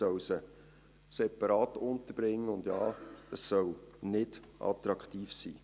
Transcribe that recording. Man soll sie separat unterbringen und Ja, es soll nicht attraktiv sein.